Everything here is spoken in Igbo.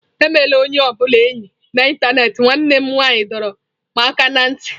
Emela onye ọ bụla enyi na ịntanetị nwanne m nwanyị dọrọ m aka ná ntị.